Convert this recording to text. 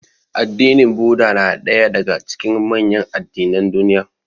Addinin Buddah na ɗaya daga cikin manyan addinan duniya.